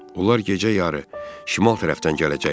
Onlar gecə yarı şimal tərəfdən gələcəklər.